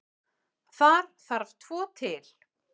Þar þarf tvo til.